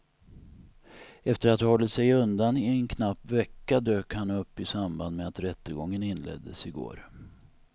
Efter att ha hållit sig undan i en knapp vecka dök han upp i samband med att rättegången inleddes i går.